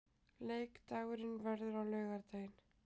Leikurinn verður á laugardaginn.